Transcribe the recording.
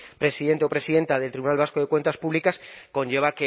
presidente o presidenta del tribunal vasco de cuentas públicas conlleva